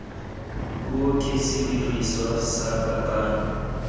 puo ke sediriswa sa kakanyo